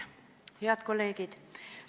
Head kolleegid!